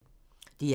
DR1